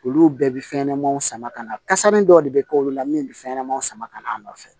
Olu bɛɛ bɛ fɛnɲɛnɛmaninw sama ka na kasamanin dɔ de bɛ k'olu la min bɛ fɛn ɲɛnamanw sama ka na a nɔfɛ